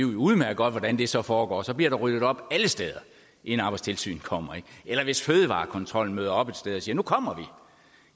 udmærket godt hvordan det så foregår så bliver der ryddet op alle steder inden arbejdstilsynet kommer eller hvis fødevarekontrollen møder op et sted og siger at nu kommer